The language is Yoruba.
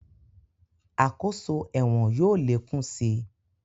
Àkóso ẹ̀wọ̀n yóò lé kún si